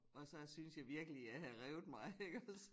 Og så synes jeg virkelig jeg havde revet mig iggås